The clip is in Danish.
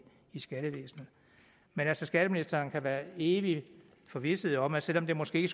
skattevæsenet men skatteministeren kan være evig forvisset om at selv om det måske